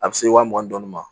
A bɛ se wa mugan ni duuru ma